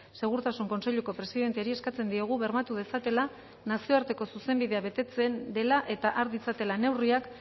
segurtasun kontseiluko presidenteari eskatzen diogu bermatu dezatela nazioarteko zuzenbidea betetzen dela eta har ditzatela neurriak